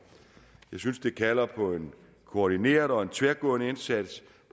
jeg synes det kalder på en koordineret og tværgående indsats